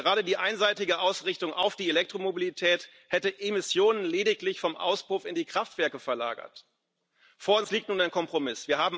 Gerade die einseitige Ausrichtung auf die Elektromobilität hätte Emissionen lediglich vom Auspuff in die Kraftwerke verlagert. Vor uns liegt nun ein Kompromiss.